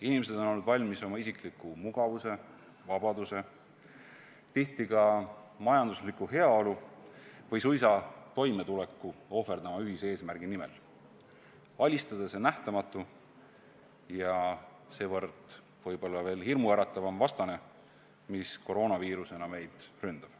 Inimesed on valmis oma isikliku mugavuse, vabaduse, tihti ka majandusliku heaolu või suisa toimetuleku ohverdama ühise eesmärgi nimel: alistada see nähtamatu ja seevõrra võib-olla veel hirmuäratavam vastane, mis koroonaviirusena meid ründab.